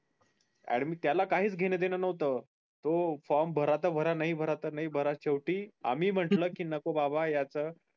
त्याला काहीच घेण देन नव्हत तो form भरा तर भरा नाही तर नाय भरा शेवटी आम्ही म्हटल कि नको बाबा याच